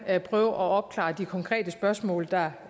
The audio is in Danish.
at opklare de konkrete spørgsmål der